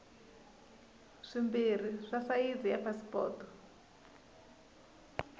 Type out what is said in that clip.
swimbirhi swa sayizi ya pasipoto